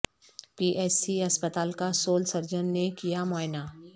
پی H C اسپتال کا civil surgeon نے کیا معائنہ